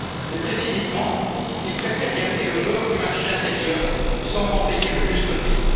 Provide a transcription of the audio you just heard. Mais, très cyniquement, ils préfèrent garder le beurre du marché intérieur sans en payer le juste prix.